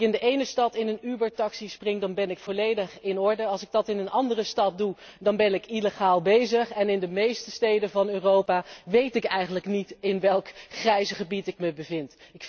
Als ik in de ene stad in een Uber taxi spring dan ben ik volledig in orde, als ik dat in een andere stad doe dan ben ik illegaal bezig en in de meeste steden van Europa weet ik eigenlijk niet in welk grijs gebied ik mij bevind.